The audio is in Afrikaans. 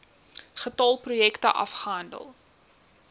getal projekte afgehandel